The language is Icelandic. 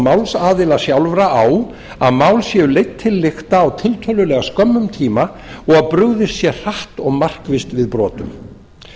málsaðila sjálfra á að mál séu leidd til lykta á tiltölulega skömmum tíma og að brugðist sé hratt og markvisst við brotum